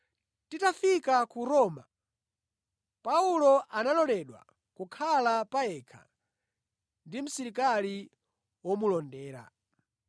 Titafika ku Roma, Paulo analoledwa kukhala pa yekha ndi msilikali womulondera.